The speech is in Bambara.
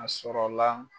A sɔrɔla